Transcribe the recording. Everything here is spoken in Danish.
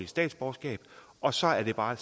statsborgerskab og så er det bare